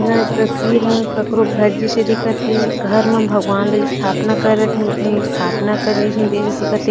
यहाँ तस्वीर है ककरो घर जिसे दीखत है घर मा भगवान लइ स्थापना करत है उसने स्थापना करवी दिखत है।